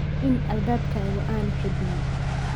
In albaabkaagu aanu xidhmin.